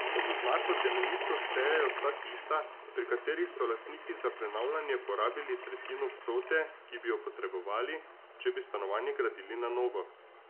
Pod oznako temeljito štejejo vsa tista, pri katerih so lastniki za prenavljanje porabili tretjino vsote, ki bi jo potrebovali, če bi stanovanje gradili na novo.